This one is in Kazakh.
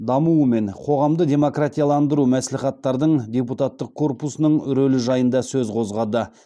дамуы мен қоғамды демократияландыру мәслихаттардың депутаттық корпусының рөлі жайында сөз қозғады